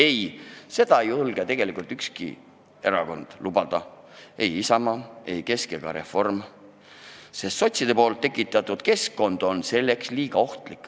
Ei, seda ei julge tegelikult ükski erakond kuulutada – ei Isamaa, ei Keskerakond ega reformikad, sest sotside tekitatud keskkond on selleks liiga ohtlik.